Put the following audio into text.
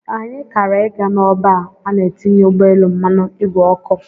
Anyị kara ị ga n'ọba a na-etinye ụgbọelu mmanụ ìgwè oku.